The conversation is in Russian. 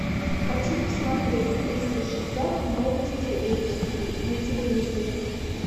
хочу посмотреть триста шестьдесят новости эйч ди на телевизоре